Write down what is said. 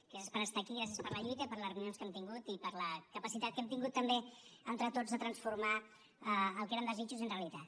gràcies per estar aquí i gràcies per la lluita i per les reunions que hem tingut i per la capacitat que hem tingut també entre tots de transformar el que eren desitjos en realitat